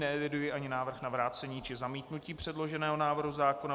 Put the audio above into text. Neeviduji ani návrh na vrácení či zamítnutí předloženého návrhu zákona.